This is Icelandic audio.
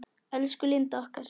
Elsku Linda okkar.